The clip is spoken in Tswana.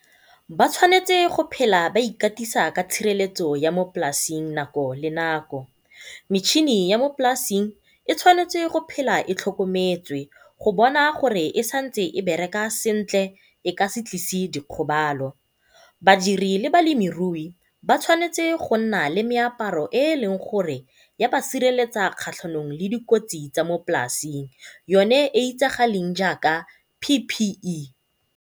Ba tshwanetse go phela ba ikatisa ka tshireletso ya mo polasing nako le nako, metšhini ya mo polasing e tshwanetse go phela e tlhokometswe go bona gore e santse e bereka sentle e ka se tlise dikgobalo. Badiri le balemirui ba tshwanetse go nna le meaparo e leng gore ya ba sireletsa kgatlhanong le dikotsi tsa mo polasing yone e e itsagaleng jaaka P_P_E.